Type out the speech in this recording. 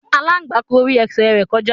Aláǹgbá gborí ẹsẹ̀ rẹ̀ kọjá.